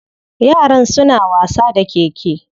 Yaran suna wasa da keke.